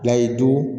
Layidu